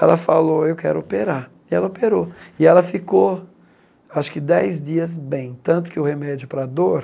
Ela falou, eu quero operar, e ela operou, e ela ficou acho que dez dias bem, tanto que o remédio para a dor